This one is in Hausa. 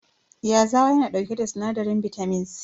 Yazawa yana dauke da sinadarin bitamin C.